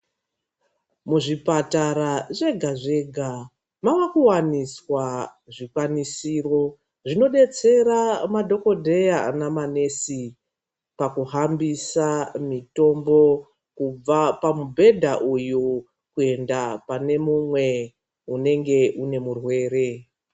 Muzvipatara zvega-zvega mava kuwaniswa zvikwanisiro zvinodetsera madhokodheya namanesi pakuhambisa mitombo kubva pamubhedha uyu kuenda pane mumwe unenge une murwere.